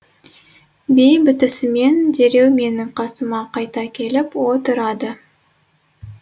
би бітісімен дереу менің қасыма қайта келіп отырады